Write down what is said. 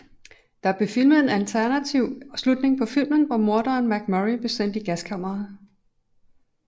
Der blev filmet en alternativ slutning på filmen hvor morderen MacMurray blev sendt i gaskammeret